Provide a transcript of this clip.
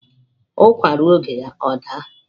Ukwa ruo oge ya o da